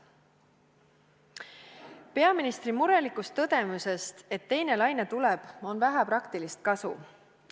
Peaministri murelikust tõdemusest, et teine laine tuleb, on vähe praktilist kasu.